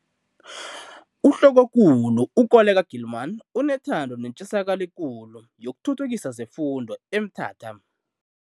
UHlokokulu u-Koleka Gilman unethando netjisakalo ekulu yokuthuthukisa zefundo eMthatha.